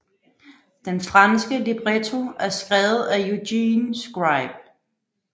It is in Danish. Den franske libretto er skrevet af Eugène Scribe